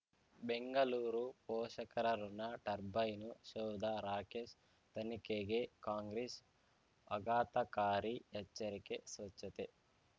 ಬೆಂಗಳೂರು ಪೋಷಕರಋಣ ಟರ್ಬೈನು ಸೌಧ ರಾಕೇಶ್ ತನಿಖೆಗೆ ಕಾಂಗ್ರೆಸ್ ಆಘಾತಕಾರಿ ಎಚ್ಚರಿಕೆ ಸ್ವಚ್ಛತೆ